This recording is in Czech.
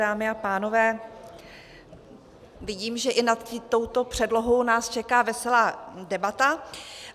Dámy a pánové, vidím, že i nad touto předlohou nás čeká veselá debata.